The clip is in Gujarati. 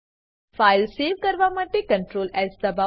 ફાઈલ સેવ કરવા માટે Ctrl એસ દબાઓ